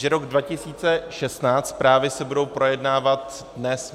Že rok 2016, zprávy, se budou projednávat dnes.